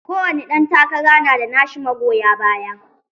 Kowane ɗan takara na da nashi magoya baya.